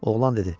Oğlan dedi.